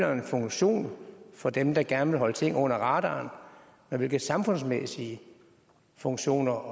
jo en funktion for dem der gerne vil holde nogle ting under radaren så hvilke samfundsmæssige funktioner